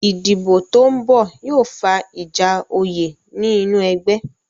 Ìdìbò tó ń bọ̀ yóò fa ìjà oyè ní inú ẹgbẹ́